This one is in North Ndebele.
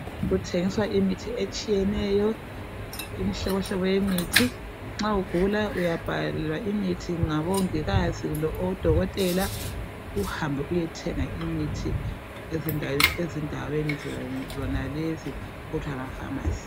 Kuthengiswa imithi etshiyeneyo, imihlobohlobo yemithi. Nxa ugula uyabhalelwa imithi ngabongikazi kumbe odokotela uhambe uyethenga imithi ezindaweni zonalezi okuthiwa ngama pharmacy.